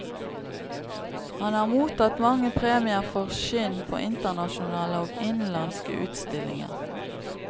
Han har mottatt mange premier for skinn på internasjonale og innenlandske utstillinger.